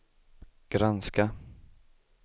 granska